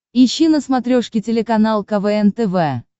ищи на смотрешке телеканал квн тв